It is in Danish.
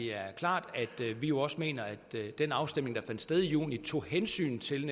er klart at vi også mener at den afstemning der fandt sted i juni tog hensyn til